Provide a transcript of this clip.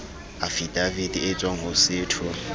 afidavite e tswang ho setho